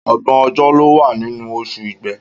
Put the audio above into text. Ọgbọ̀n ọjọ́ ló wà nínú oṣù Igbe.